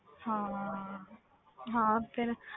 ਹਾਂ ਹਾਂ ਫਿਰ